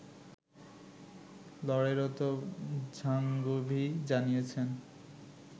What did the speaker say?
লড়াইরত ঝাঙ্গভি জানিয়েছে